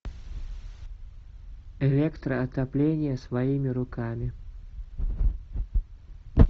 электроотопление своими руками